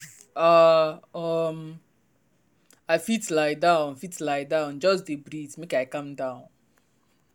ah um i fit lie down fit lie down just dey breathe make i calm down.